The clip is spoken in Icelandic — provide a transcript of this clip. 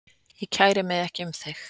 Ég kæri mig ekki um þig